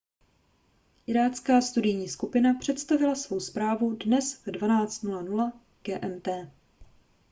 irácká studijní skupina představila svoji zprávu dnes v 12:00 gmt